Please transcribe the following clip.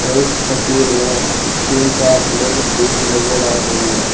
और इस तस्वीर में तीन चार लेडिज भी नजर आ रही है।